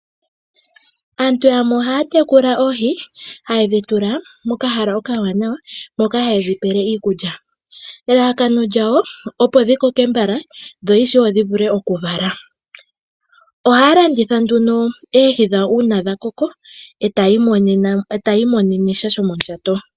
Aantu yamwe ohaa tekula oohi haye dhi tekulile muundama .Ohaa kala ta yedhi pelemo iikulya opo dhi koke mbala dhi indjipale .Ngele dha koko ohaye dhi landithapo etaa imonene mo iiyemo.